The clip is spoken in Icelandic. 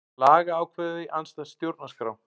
Lagaákvæði andstætt stjórnarskrá